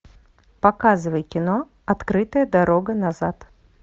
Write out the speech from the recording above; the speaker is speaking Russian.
показывай кино открытая дорога назад